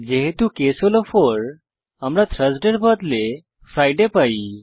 যেহেতু কেস হল 4 আমরা থার্সডে এর বদলে ফ্রিডে পাই